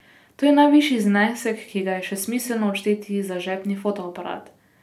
To je najvišji znesek, ki ga je še smiselno odšteti za žepni fotoaparat.